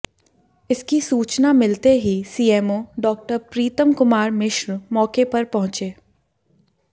इसकी सूचना मिलते ही सीएमओ डॉ प्रीतम कुमार मिश्र मौके पर पहुंचे